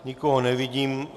Nikoho nevidím.